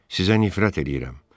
Sizə nifrət eləyirəm.